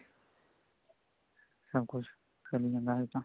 ਸਭ ਕੁੱਝ ਚੱਲੀ ਜਾਂਦਾ ਹਜੇ ਤਾਂ